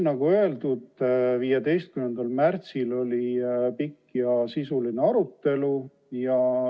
Nagu öeldud, 15. märtsil oli pikk ja sisuline arutelu.